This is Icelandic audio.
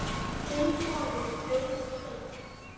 Þinn sonur, Auðunn Steinn.